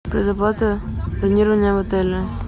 предоплата бронирования в отеле